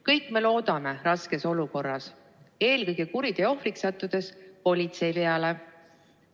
Kõik me loodame raskes olukorras, eelkõige kuriteo ohvriks sattudes, politsei peale.